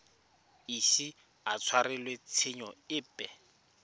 ise a tshwarelwe tshenyo epe